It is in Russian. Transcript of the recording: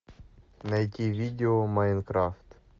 найти видео майнкрафт